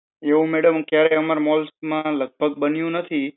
એવુ madam ક્યારે અમારા malls માં લગભગ બન્યો નથી.